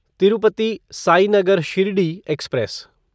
Tirupati Sainagar Shirdi express